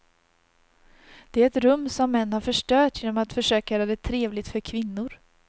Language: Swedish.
Det är ett rum som män har förstört genom att försöka göra det trevligt för kvinnor.